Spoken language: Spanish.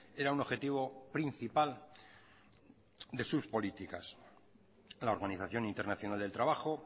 era un objetivo principal de sus políticas la organización internacional del trabajo